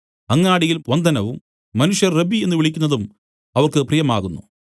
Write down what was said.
അങ്ങാടിയിൽ വന്ദനവും മനുഷ്യർ റബ്ബീ എന്നു വിളിക്കുന്നതും അവർക്ക് പ്രിയമാകുന്നു